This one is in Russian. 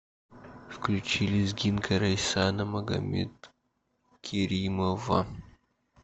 включи лезгинка рейсана магомедкеримова